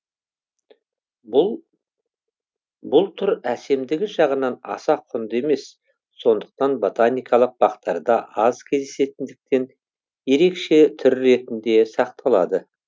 бұл түр әсемдігі жағынан аса құнды емес сондықтан ботаникалық бақтарда аз кездесетіндіктен ерекше түр ретінде сақталады